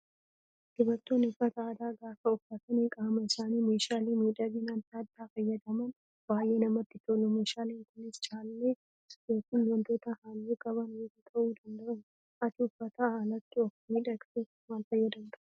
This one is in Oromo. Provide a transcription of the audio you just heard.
Dubartoonni uffata aadaa gaafa uffatanii qaama isaanii meeshaalee miidhaginaa adda addaa fayyadaman baay'ee namatti tolu. Meeshaaleen kunis callee yookaan wantoota halluu qaban biroo ta'uu danda'u. Ati uffataan alatti of miidhagsuuf maal fayyadamtaa?